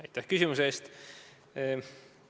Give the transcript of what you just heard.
Aitäh küsimuse eest!